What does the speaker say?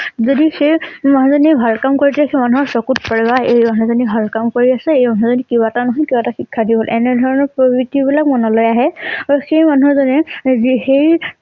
যদি সেই মানুহ জনীয়ে ভাল কাম কৰে সেই মানুহৰ চকুত পৰে বা এই মানুহ জনি ভাল কাম কৰি আছে এই মানুহ জনি কিবা এটা নহয় কিবা এটা শিক্ষা দিব। এনে ধৰণৰ বিলাক মনলৈ আহে । আৰু সেই মানুহ জনীয়ে জি সেই